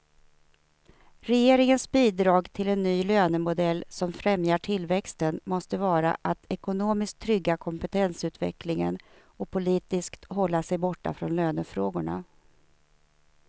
Regeringens bidrag till en ny lönemodell som främjar tillväxten måste vara att ekonomiskt trygga kompetensutvecklingen och politiskt hålla sig borta från lönefrågorna.